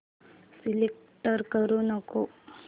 select करू नको